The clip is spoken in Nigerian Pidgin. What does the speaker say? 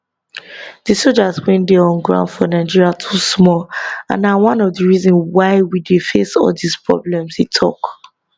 di soldiers wey dey on ground for nigeria too small and na one of di reason why we dey face all dis problems e tok